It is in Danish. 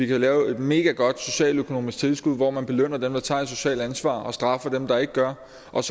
kan lave et megagodt socialøkonomisk tilskud hvor man belønner dem der tager et socialt ansvar og straffer dem der ikke gør